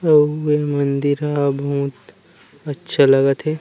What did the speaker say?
अउ ए मंदिर ह बहुत अच्छा लागत हे ।